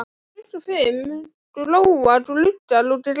Klukkan fimm glóa gluggar og gras.